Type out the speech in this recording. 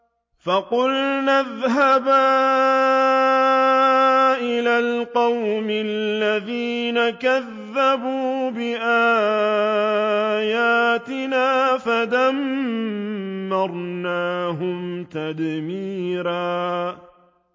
فَقُلْنَا اذْهَبَا إِلَى الْقَوْمِ الَّذِينَ كَذَّبُوا بِآيَاتِنَا فَدَمَّرْنَاهُمْ تَدْمِيرًا